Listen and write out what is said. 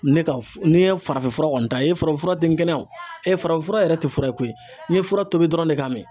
Ne ka n'i ye farafinfura kɔni ta, i ye farafinfura ten kɛnɛya o farafinfura yɛrɛ tɛ fura ye koyi, n ye fura tobi dɔrɔn de ka min.